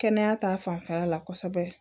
Kɛnɛya ta fanfɛla la kosɛbɛ